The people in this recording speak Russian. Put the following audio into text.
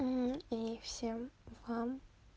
ну и всем вам